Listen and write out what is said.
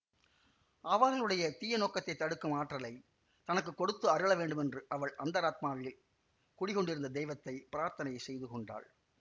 அவர்களுடைய தீய நோக்கத்தைத் தடுக்கும் ஆற்றலைத் தனக்கு கொடுத்து அருள வேண்டுமென்று அவள் அந்தராத்மாவில் குடிகொண்டிருந்த தெய்வத்தைப் பிரார்த்தனை செய்து கொண்டாள்